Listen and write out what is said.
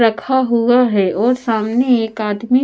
रखा हुआ है और सामने एक आदमी--